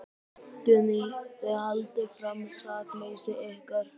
Guðný: Þið haldið fram sakleysi ykkar?